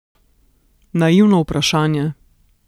Naivno vprašanje.